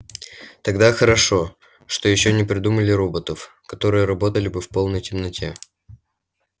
тогда хорошо что ещё не придумали роботов которые работали бы в полной темноте